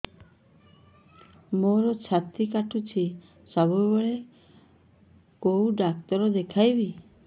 ମୋର ଛାତି କଟୁଛି ସବୁବେଳେ କୋଉ ଡକ୍ଟର ଦେଖେବି